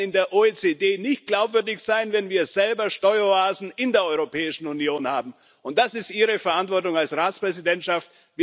Wir werden in der OECD nicht glaubwürdig sein, wenn wir selber Steueroasen in der Europäischen Union haben, und das ist Ihre Verantwortung als Ratspräsidentschaft.